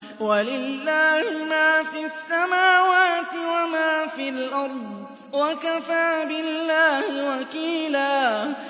وَلِلَّهِ مَا فِي السَّمَاوَاتِ وَمَا فِي الْأَرْضِ ۚ وَكَفَىٰ بِاللَّهِ وَكِيلًا